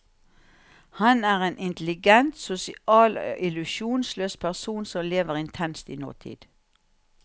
Han er en intelligent, sosial og illusjonsløs person som lever intenst i nåtid.